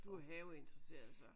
Du er haveinteresseret så?